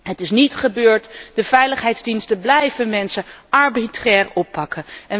Het is niet gebeurd, de veiligheidsdiensten blijven mensen arbitrair oppakken.